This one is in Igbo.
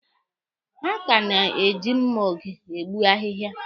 Ha ka na-eji mma oge egbu ahịhịa.